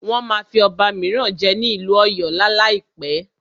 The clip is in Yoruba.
Wọ́n máa fí ọba míràn jẹ ní ìlú ọ̀yọ́ lá láìpẹ́.